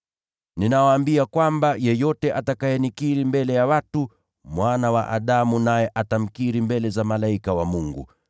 “Ninawaambia kwamba yeyote atakayenikiri mbele ya watu, Mwana wa Adamu naye atamkiri mbele za malaika wa Mungu.